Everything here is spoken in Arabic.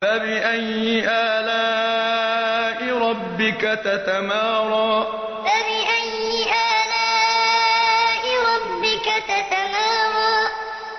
فَبِأَيِّ آلَاءِ رَبِّكَ تَتَمَارَىٰ فَبِأَيِّ آلَاءِ رَبِّكَ تَتَمَارَىٰ